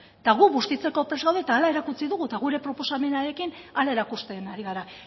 eta gu bustitzeko prest gaude eta hala erakutsi dugu eta gure proposamenarekin hala erakusten ari gara